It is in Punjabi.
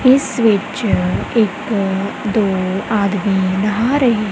ਇਸ ਵਿੱਚ ਇੱਕ ਦੋ ਆਦਮੀ ਨਹਾ ਰਹੇ--